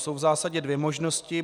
Jsou v zásadě dvě možnosti.